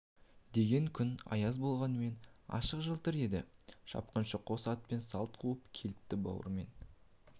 деген күн аяз болғанмен ашық жалтыр еді шапқыншы қос атпен салт қуып келіпті бауыр мен